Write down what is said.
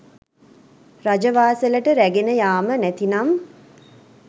රජවාසලට රැගෙන යාම නැතිනම්